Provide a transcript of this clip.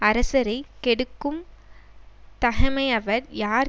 அரசரை கெடுக்கும் தகைமையவர் யார்